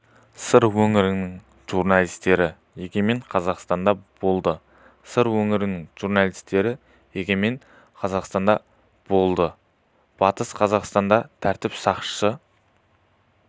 сыр өңірінің журналистері егемен қазақстанда болды сыр өңірінің журналистері егемен қазақстанда болды батыс қазақстанда тәртіп сақшысы